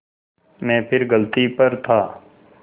मैं फिर गलती पर था